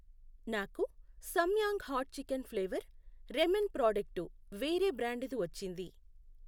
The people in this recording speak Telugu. నాకు Samyang hot chicken flavour ramen product వేరే బ్రాండుది వచ్చింది.